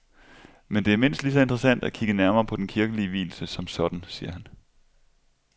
Men det er mindst lige så interessant at kigge nærmere på den kirkelige vielse som sådan, siger han.